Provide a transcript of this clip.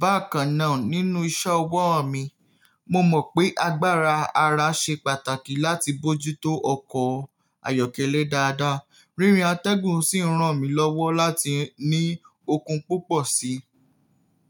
Bákan náà, nínú iṣẹ́ ọwọ́ o mi, mo mọ̀ pé agbára ara ṣe pàtàkì láti bójú tó ọkọ̀ o ayọ́kẹ́lẹ́ dáadáa. Rírìn atẹ́gùn sì ń ràn mí lọ́wọ́ láti ní okun púpọ̀ síi.